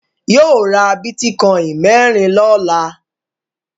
Yóò ra bítíkọ́ìn mẹ́rin lọ́la.